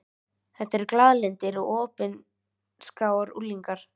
Þetta eru glaðlyndir og opinskáir unglingar.